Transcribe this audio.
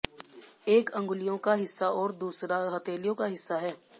एक अंगुलियों का हिस्सा और दूसरा हथेलियों का हिस्सा है